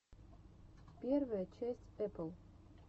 первая часть эпл